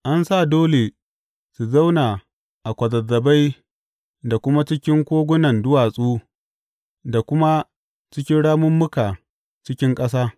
An sa dole su zauna a kwazazzabai da kuma cikin kogunan duwatsu da kuma cikin ramummuka cikin ƙasa.